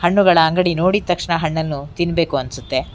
ಹಣ್ಣುಗಳ ಅಂಗಡಿ ನೋಡಿದ್ ತಕ್ಷಣ ಹಣ್ಣನ್ನು ತಿನ್ಬೇಕು ಅನ್ಸುತ್ತೆ.